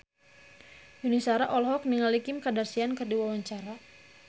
Yuni Shara olohok ningali Kim Kardashian keur diwawancara